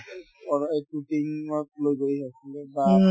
এক দুই দিনত লৈ গৈ আছিলে বা